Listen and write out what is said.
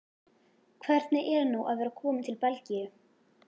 Hvernig er nú að vera kominn til Belgíu?